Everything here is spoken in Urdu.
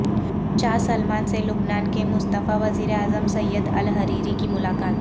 شاہ سلمان سے لبنان کے مستعفی وزیراعظم سعد الحریری کی ملاقات